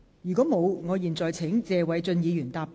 如果沒有，我現在請謝偉俊議員答辯。